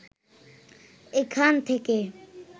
এখান থেকে